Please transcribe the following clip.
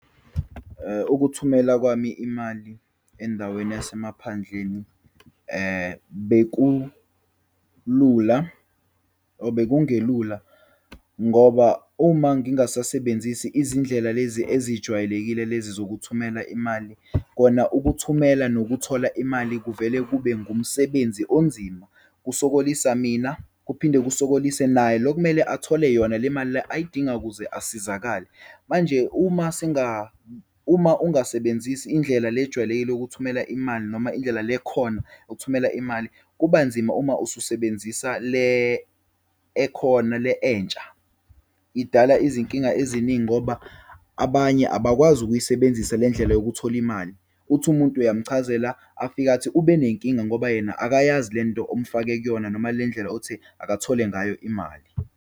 Ukuthumela kwami imali endaweni yasemaphandleni, bekulula or bekungelula ngoba uma ngingasasebenzisi izindlela lezi ezijwayelekile lezi zokuthumela imali, kona ukuthumela nokuthola imali kuvele kube ngumsebenzi onzima. Kusokolisa mina, kuphinde lusokolise naye lo okumele athole yona le mali le ayidingayo ukuze asizakale. Manje uma uma ungasebenzisi indlela le ejwayelekile ukuthumela imali noma indlela lekhona ukuthumela imali, kubanzima uma ususebenzisa le ekhona le entsha, idala izinkinga eziningi ngoba abanye abakwazi ukuyisebenzisa le ndlela yokuthola imali. Uthi umuntu uyamchazela, afike athi ube nenkinga ngoba yena akayazi lento omfake kuyona, noma le ndlela othe akathole ngayo imali.